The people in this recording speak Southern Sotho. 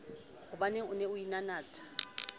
hobaneng o ne o inanatha